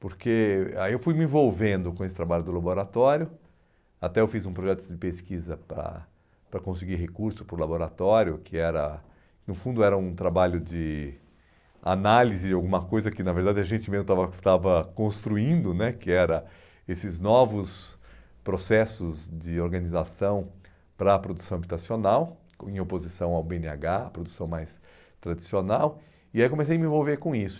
porque aí eu fui me envolvendo com esse trabalho do laboratório, até eu fiz um projeto de pesquisa ah para conseguir recurso para o laboratório, que era no fundo era um trabalho de análise de alguma coisa que na verdade a gente mesmo estava estava construindo né, que era esses novos processos de organização para a produção habitacional, em oposição ao bê ene agá, a produção mais tradicional, e aí comecei a me envolver com isso.